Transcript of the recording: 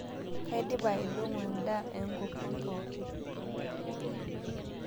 Kaidipa aidong'o ndaa eenkokon pooki